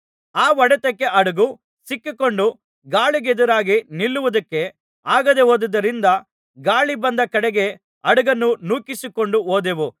ಆ ಹೊಡೆತಕ್ಕೆ ಹಡಗು ಸಿಕ್ಕಿಕೊಂಡು ಗಾಳಿಗೆದುರಾಗಿ ನಿಲ್ಲುವುದಕ್ಕೆ ಆಗದೆಹೋದುದರಿಂದ ಗಾಳಿ ಬಂದ ಕಡೆಗೆ ಹಡಗನ್ನು ನೂಕಿಸಿಕೊಂಡು ಹೋದೆವು